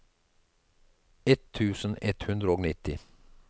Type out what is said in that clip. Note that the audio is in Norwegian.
ett tusen ett hundre og nitti